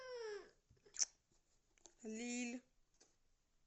лилль